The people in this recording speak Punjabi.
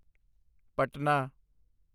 ਪਟਨਾ